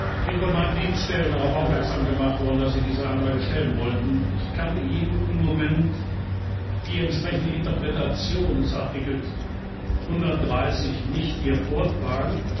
Ich bin von meinen Dienststellen darauf aufmerksam gemacht worden, dass Sie diese Anträge stellen wollten. Ich kann Ihnen im Moment die entsprechende Interpretation des Artikels 130 nicht hier vortragen.